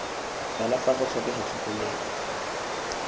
fela fa go tlhokega tlhokomelo